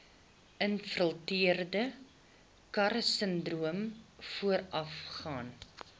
infiltrerende karsinoom voorafgaan